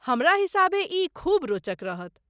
हमरा हिसाबे ई खूब रोचक रहत।